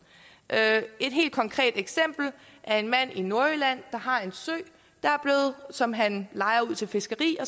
et helt konkret eksempel er en mand i nordjylland der har en sø som han lejer ud til fiskeri